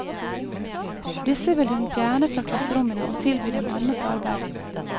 Disse vil hun fjerne fra klasserommene og tilby dem annet arbeid.